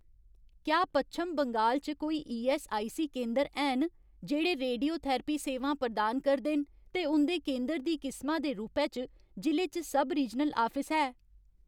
क्या पच्छम बंगाल च कोई ईऐस्सआईसी केंदर हैन जेह्ड़े रेडियोथेरेपी सेवां प्रदान करदे न ते उं'दे केंदर दी किसमा दे रूपै च जि'ले च सब रीजनल आफिस है ?